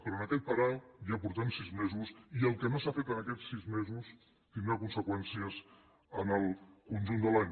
però en aquest parar ja portem sis mesos i el que no s’ha fet en aquests sis mesos tindrà conseqüències en el conjunt de l’any